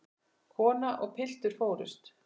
Kona og piltur fórust.